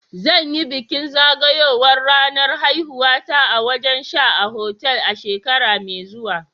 Zan yi bikin zagayowar ranar haihuwata a wajen sha a otal a shekara mai zuwa.